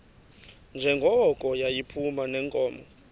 njengoko yayiphuma neenkomo